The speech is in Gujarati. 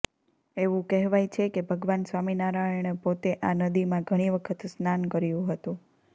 એવું કહેવાય છે કે ભગવાન સ્વામિનારાયણે પોતે આ નદીમાં ઘણી વખત સ્નાન કર્યું હતું